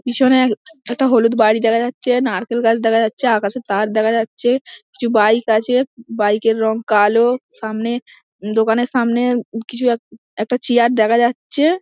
পেছনেও একটি হলুদ বাড়ি দেখা যাচ্ছে নারকেল গাছ দেখা যাচ্ছে আকাশে চাঁদ দেখা যাচ্ছে কিছু বাইক আছে বাইক -এর রং কালো সামনে দোকানের সামনে কিছু এক একটা চেয়ার দেখা যাচ্ছে।